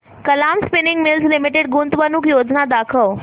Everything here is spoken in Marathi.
कलाम स्पिनिंग मिल्स लिमिटेड गुंतवणूक योजना दाखव